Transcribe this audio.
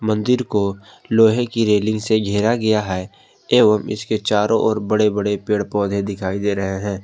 मंदिर को लोहे की रेलिंग से घेरा गया है एवं इसके चारों ओर बड़े बड़े पेड़ पौधे दिखाई दे रहे हैं।